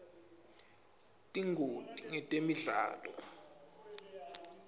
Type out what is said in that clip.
tingoti ngetemidlalo